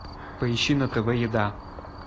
поищи на тв еда